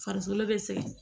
Farikolo bɛ sɛgɛn